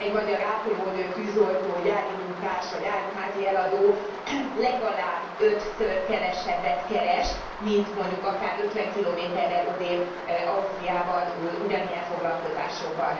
Egy magyar ápolónő, tűzoltó, gyári munkás vagy áruházi eladó legalább ötször kevesebbet keres, mint mondjuk akár 50 km rel odébb Ausztriában ugyanilyen foglalkozásokban.